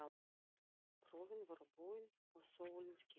Prófin voru búin og sólin skein.